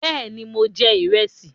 Bẹ́ẹ̀ ni, mo jẹ ìrẹsì.